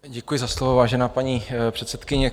Děkuji za slovo, vážená paní předsedkyně.